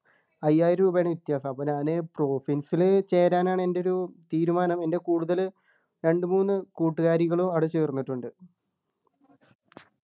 അയ്യായിരം രൂപയാണ് വ്യത്യാസം അപ്പൊ ഞാന് പ്രൊഫിൻസ് ലു ചേരാനാണ് എൻ്റെ ഒരു തീരുമാനം എൻ്റെ കൂടുതല് രണ്ട് മൂന്ന് കൂട്ടുകാരികളും അവിടെ ചേർന്നിട്ടുണ്ട്